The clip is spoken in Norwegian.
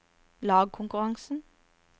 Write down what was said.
lagkonkurransen